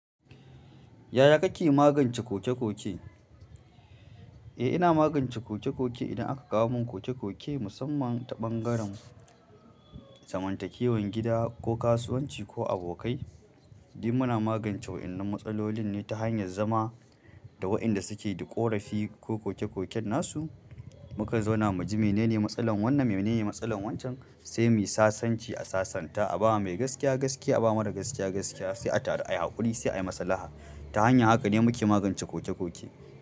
Yaya kake magance koke-koke? Eh, ina magance koke-koke idan aka kawo mun koke-koke musamman ta ɓangaren zamantakewan gada ko kasuwanci ko abokai. In muna magance waƴan nan matsalolin ne ta hanyar zama da waƴanda suke da ƙorafi ko koke koken nasu muka zauna mu ji mene ne matsalar wannan, mene ne matsalar wancen sai mu sasanci a sasanta. Aba mai gaskiya, gaskiya aba mara gaskiya gaskiya sai a taru ayi haƙuri sai ayi masalaha ta hanyar haka ne muke magance koke-koke.